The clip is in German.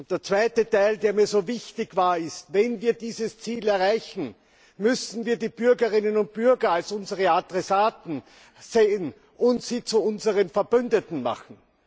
Der zweite Teil, der mir so wichtig war, ist Wenn wir dieses Ziel erreichen, müssen wir die Bürgerinnen und Bürger als unsere Adressaten sehen und sie zu unseren Verbündeten machen.